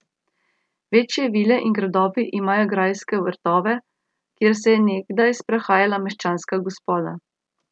Večje vile in gradovi imajo grajske vrtove, kjer se je nekdaj sprehajala meščanska gospoda.